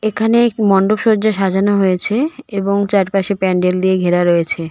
এখানে এক মন্ডপ সজ্জা সাজানো হয়েছে এবং চারপাশে প্যান্ডেল দিয়ে ঘেরা রয়েছে.